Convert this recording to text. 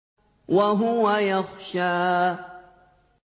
وَهُوَ يَخْشَىٰ